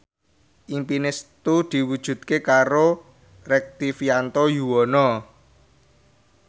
impine Setu diwujudke karo Rektivianto Yoewono